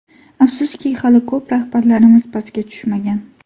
Afsuski hali ko‘p rahbarlarimiz pastga tushmagan.